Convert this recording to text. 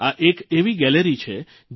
આ એક એવી ગેલેરી દીર્ઘા છે